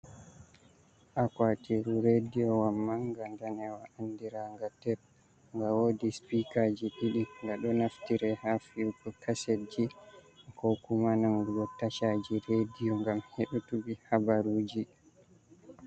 Akuatiru rediyo wa manga danewa andiraga teb, ga wodi spikaji didi gado naftira ha fi’uko kasedji ko kuma nangugo tashaji rediyo gam hedutuki habaruji.